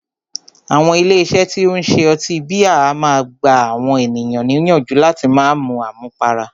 Àwọn ilé iṣé tí o ń ṣe ọtí bíà a máà gbà àwọn ènìyàn níyànjú láti má mú àmúpará.